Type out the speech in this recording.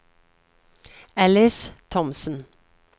Alice Thomsen